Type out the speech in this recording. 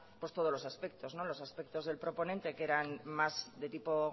todos los aspectos los aspectos del proponente que eran más de tipo